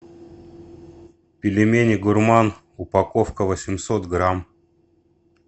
пельмени гурман упаковка восемьсот грамм